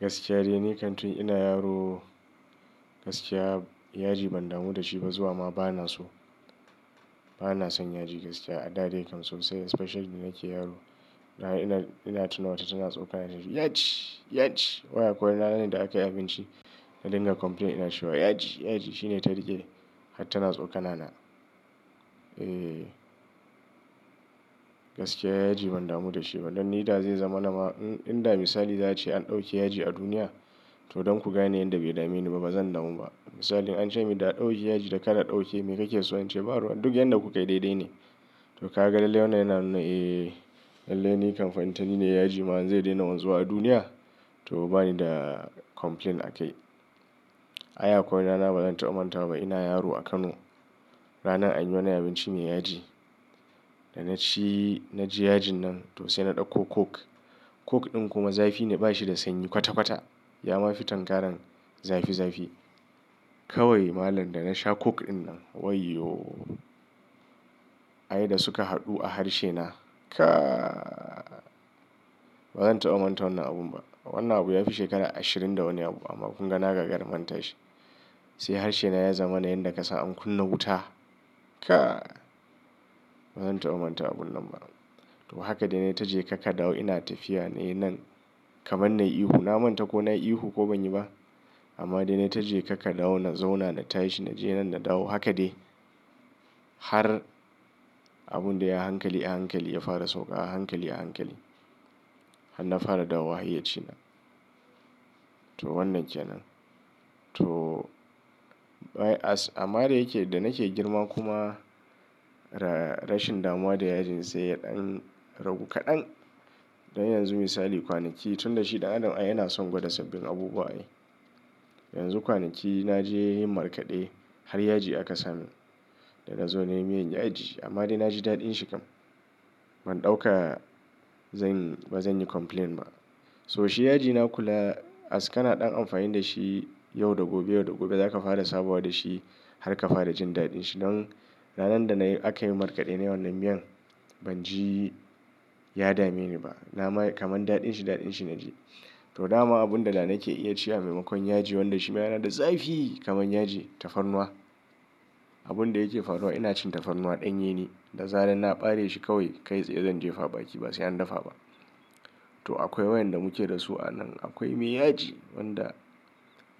Gaskiya dai ni kan tun ina yaro, gaskiya yaji ban damu da shi ba zuwa ma bana so. Bana son yaji gaskiya a da dai kam sosai, especially da nake yaro. Ina, ina tuna wata tana tsokana na da "yaji, yaji." Wai akawai wani ranan da aka yi abinci, na dinga complain ina cewa "yaji, yaji." Shine ta riƙe har tana tsokana na. Eh, gaskiya yaji ban damu da shi ba. Don ni da zai zama nama in da misali za a ce an ɗauki yaji a duniya to don ku gane yanda bai dame ni ba bazan damu ba. Misali an ce mu da aɗauke yaji da kada a ɗauke, me kake so in ce? Baruwan duk yanda kuka yi dai dai ne. To ka ga lallai wannan yana nuna eh lallai ni kam fa intani ne, yaji ma zai daina zuwa duniya to bani da complain a kai. Ai akwai wani rana bazan taɓa manta ba. Ina yaro a Kano, ranan an yi wani abinci mai yaji. Da na ci na ji yajin nan to sai na ɗauko coke. Coke ɗin kuma zafi ne bashi da sanyi kwata kwata. Yama fi tangaran zafi zafi. Kawai malam da na sha coke dinnan wayyo! Aye da suka haɗu a harshe na kai! Bazan taɓa manta wannan abun ba. Wannan abu yafi shekara ashirin da wani abu amma kun ga na gagara manta shi. Sai harshe na ya zama na yanda kasan an kunna wuta kai! Bazan taɓa manta abun nan ba. To haka dai nai taji ka ka dawo ina tafiya nai nan kaman na yi ihu. Na manta ko na yi ihu ko ban yi ba. Amma dai na ta je ka ka dawo na zauna na tashi na je nan na dawo. Haka dai har abun dai a hankali a hankali ya fara sauka a hankali a hankali. Har na fara dawowa hayyaci na. To wannan kenan. Amma da yake da nake girma kuma rashin damuwa da yajin sai dan ragu kaɗan. Dan yanzu misali kwanaki tun da shi ɗan adam yana son gwada sabbin abubuwa ne. Yanzu kwanaki na je yin markaɗe har yaji aka sa min. Da na zo na yi miyan yaji amma dai na ji daɗin shi kam. Ban ɗauka zan, bazan yi complain ba. So shi yaji na kula, as kana ɗan amfani da shi yau da gobe, yau da gobe. Za ka fara sabawa da shi har ka fara jin daɗin shi. Don ranan da na yi aka yi markaɗe nayi wannan miyan ban ji ya dame ni ba. Na ma kaman daɗin shi daɗin shi na ji. To dama abun da nake iya cewa maimakon yaji wanda shi ma yana da zafi kaman yaji, tafarnuwa. Abun da yake tafarnuwa ina cin tafarnuwa ɗan yene. Da zaran na bare shi kawai kai saye zan je fa a baki ba sai an dafa ba. To akwai wainda muke dasu a nan. Akwai mai yaji wanda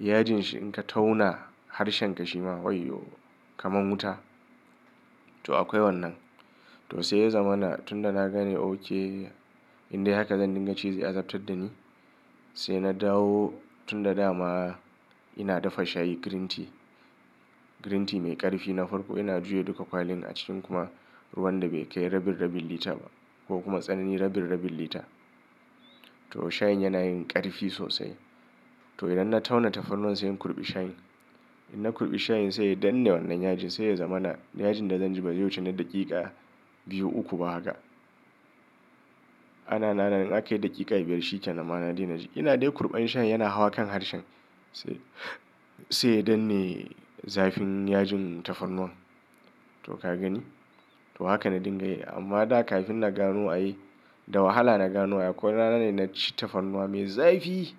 yajin shi in ka tauna harshen ka shi ma wayyo kaman wuta. To akwai wannan. To sai ya zama na tun da na gane okay in dai haka zan dinga ci zai azabtar da ni. Sai na dawo tun da dama ina dafa shayi green tea. Green tea mai ƙarfi. Na farko ina juya duka kwalin a cikin kuma ruwan da bai kai rabin rabin lita ba ko kuma tsanani rabin rabin lita. To shayin yana yin ƙarfi sosai. To idan na tauna tafarnuwa sai in kurɓi shayin. Idan na kurɓi shayin sai ya dan ne wannan yajin sai ya zama na yajin da zan ji bazai wuce na daƙiƙa biyu uku ba haka. Ana nan ana na in akayi daƙiƙa biyar shi ƙenan ma na daina ji. Ina dai kurɓan shayin yana hawa kan harshen sai, sai yadan ne zafin yajin tafarnuwan. To ka gani? To haka na dinga yi. Amma da kafin na gano ai da wahala na gano akwai ranan da na ci tafarnuwa mai zafi.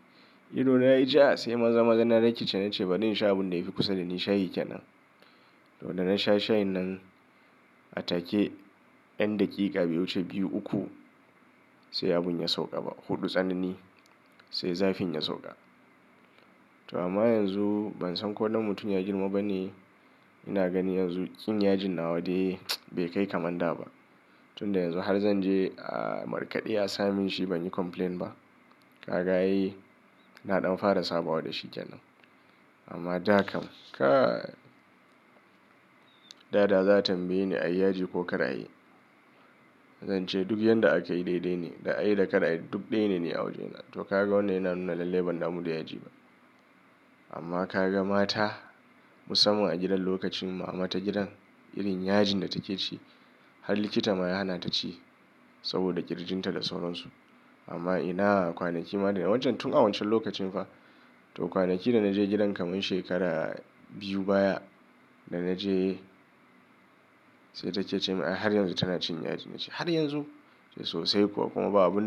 Ido na yayi ja sai maza-maza na rikice na ce bari in sha abun da yafi kusa da ni shayi kenan. To da na sha shayin nan a take yan daƙiƙa bai wuce biyu uku sai abun ya sauka ba. Hudu tsanani sai zafin ya sauka. To amma yanzu ban san ko dan mutum ya girma ba ne. Ina gani yanzu ƙin yajin na wa dai bai kai kaman da ba. Tun da yanzu har zan je a markaɗe asa min shi ban yi complain ba. Ka ga ai na ɗan fara sabawa da shi ƙyanan. Amma da kam kai! Dada za a tambaye ni a yi yaji ko kada a yi. Zan ce duk yanda aka yi dai dai ne. Da a yi da kada a yi duk dai ne ni a wajena. To ka ga wannan yana nuna lallai ban damu da yaji ba. Amma ka ga mata musamman a gidan lokacin mu amma ta gidan irin yajin da take ci har likita ma ya hana ta ci saboda ƙirjin ta da sauransu. Amma ina kwanaki ma wancan tun a wancan lokacin fa to kwanaki da na je gidan kaman shekara biyu baya da na je sai take ce min har yanzu tana cin yaji na ce har yanzu? Sosai kuwa kuma ba abun.